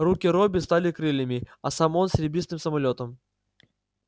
руки робби стали крыльями а сам он серебристым самолётом